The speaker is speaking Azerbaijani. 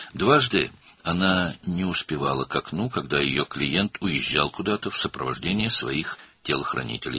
İki dəfə o, müştərisi cangüdənlərinin müşayiəti ilə harasa gedəndə pəncərəyə çatmağa macal tapmadı.